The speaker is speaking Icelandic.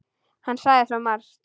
Hann sagði svo margt.